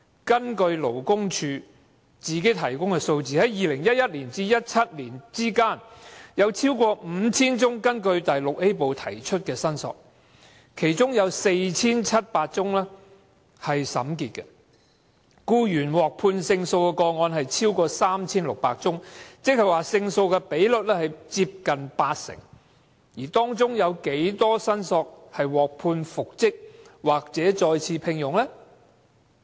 根據勞工處提供的數字，在2011年至2017年期間，有 5,000 多宗根據第 VIA 部提出的申索，其中有 4,700 宗審結，僱員獲判勝訴的個案有 3,600 多宗，勝訴的比率接近八成，而當中有多少提出申索的僱員獲判復職或再次聘用？